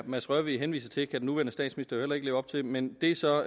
mads rørvig henviser til kan den nuværende statsminister heller ikke leve op til men det er så